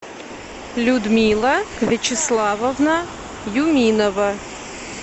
людмила вячеславовна юминова